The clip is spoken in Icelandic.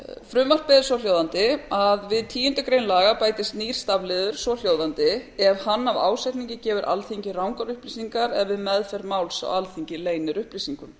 frumvarpið er svohljóðandi við tíundu grein laganna bætist nýr stafliður svohljóðandi ef hann af ásetningi gefur alþingi rangar upplýsingar eða við meðferð máls á alþingi leynir upplýsingum